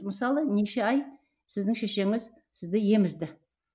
мысалы неше ай сіздің шешеңіз сізді емізді